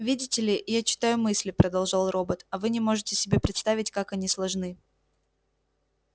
видите ли я читаю мысли продолжал робот а вы не можете себе представить как они сложны